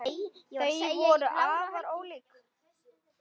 Þau voru afar ólík.